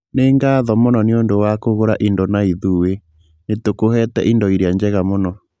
Nĩ ngatho mũno nĩ ũndũ wa kũgũra indo na ithuĩ, nĩ tũkũhete indo iria njega mũno.